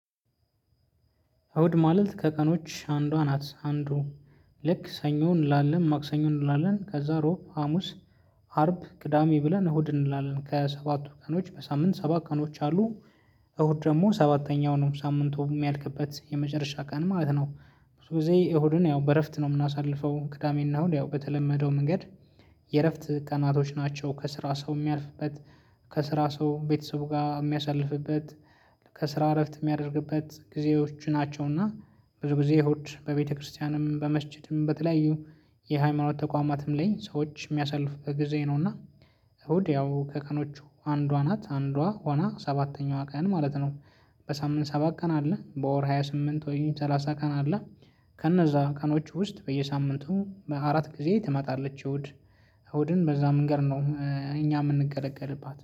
አውድ ማለት ከቀኖች አንዷ ናት አንዱ ልክ ሰኞ እንላለን ማክሰኞ እንላለን ከዛ ሮብ ሀሙስ አርብ ቅዳሜ ብለን እሁድ እንላለን ከሰባቱ ቀኖች በሳምንት ሰባት ቀኖች አሉ። እሁድ ደግሞ ሰባተኛው ነው ሳምንቱ ሚያልቅበት የመጨረሻ ቀን ማለት ነው። ብዙ ጊዜ እሁድን ያው በእረፍት ነው ምናሳልፈው ክዳሜና እሁድ ያው በተለመደው መንገድ። የእረፍት ቀናቶች ናቸው ከስራ ሰው ሚያልፍበት ከስራ ሰው ቤተሰብ ጋ ሚያሳልፍበት ከስራ እረፍት ሚያደርግበት ጊዜዎች ናቸውና። ብዙ ጊዜ እሁድ በቤተክርስቲያንም በመስጅድም በተለያዩ የሃይማኖት ተቋማትም ላይ ሰዎች ሚያሳልፍበት ጊዜ ነውና። እሁድ ያው ከቀኖቹ አንዷ ናት አንዷ ሆና ሰባተኛዋ ቀን ማለት ነው። በሳምንት ሰባት ቀን አለ በወር ሃያ ስምንት ወይም ሰላሳ ቀን አለ። ከነዛ ቀኖቹ ውስጥ በየሳምንቱ በአራት ጊዜ ትመጣለች እሁድ። እሁድን በዛ ምንገድ ነው። እኛ ምንገለገልባት